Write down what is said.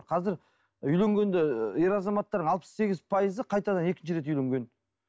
қазір үйленгендер ы ер азаматтар алпыс сегіз пайызы қайтадан екінші рет үйленген